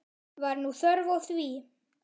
Var nú þörf á því?